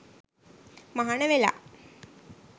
මහණ වෙලා